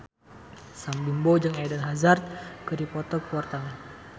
Sam Bimbo jeung Eden Hazard keur dipoto ku wartawan